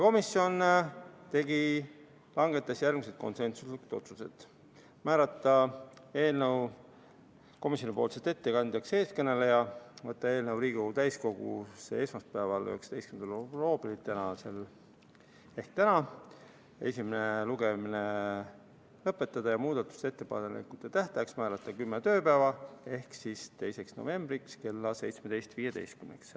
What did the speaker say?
Komisjon langetas järgmised konsensuslikud otsused: määrata eelnõu komisjoni ettekandjaks eeskõneleja, võtta eelnõu Riigikogu täiskogusse esmaspäevaks, 19. oktoobriks ehk tänaseks, esimene lugemine lõpetada ja muudatusettepanekute tähtajaks määrata 10 tööpäeva ehk 2. november kella 17.15-ks.